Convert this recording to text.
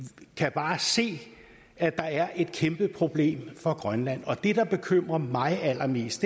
kan bare se at der er et kæmpe problem for grønland og det der bekymrer mig allermest